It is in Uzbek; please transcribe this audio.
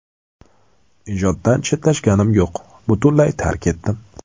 Ijoddan chetlashganim yo‘q, butunlay tark etdim.